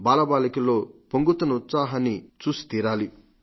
బాలబాలికల్లో పొంగుతున్న ఆ ఉత్సాహాన్ని చూసితీరాలి